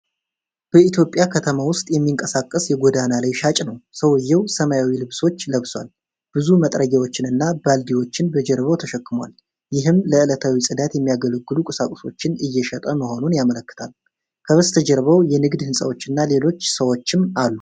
በኢትዮጵያ ከተማ ውስጥ የሚንቀሳቀስ የጎዳና ላይ ሻጭ ነው። ሰውዬው ሰማያዊ ልብሶች ለብሷል። ብዙ መጥረጊያዎችንና ባልዲዎችን በጀርባው ተሸክሟል። ይህም ለዕለታዊ ጽዳት የሚያስፈልጉ ቁሳቁሶችን እየሸጠ መሆኑን ያመለክታል። ከበስተጀርባው የንግድ ሕንፃዎችና ሌሎች ሰዎችም አሉ።